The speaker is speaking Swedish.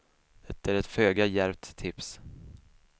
Det är ett föga djärvt tips.